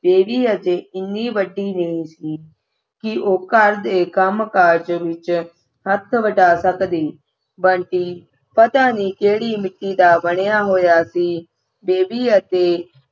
baby ਹਜੇ ਏਨੀ ਵੱਡੀ ਨਹੀਂ ਸੀ ਕੀ ਉਹੋ ਘਰ ਦੇ ਕੰਮ ਕਾਰ ਵਿਚ ਹੱਥ ਵਟਾ ਸਕਦੀ ਬੰਟੀ ਪਤਾ ਨਹੀਂ ਕਿਹੜੀ ਮਿੱਟੀ ਦਾ ਬਣਿਆ ਹੋਇਆ ਸੀ ਬੇਬੀ ਅਤੇ